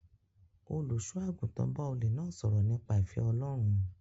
Olùṣọ́àgùtàn bá olè náà sọ̀rọ̀ nípa ìfẹ́ Ọlọ́run